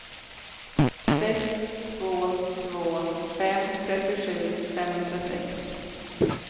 sex två två fem trettiosju femhundrasex